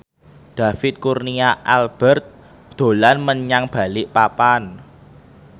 David Kurnia Albert dolan menyang Balikpapan